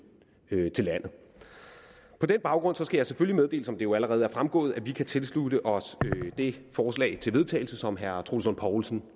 til landet på den baggrund skal jeg selvfølgelig meddele som det jo allerede er fremgået at vi kan tilslutte os det forslag til vedtagelse som herre troels lund poulsen